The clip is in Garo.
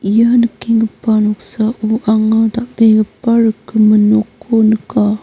ia nikenggipa noksao anga dal·begipa rikgimin nokko nika.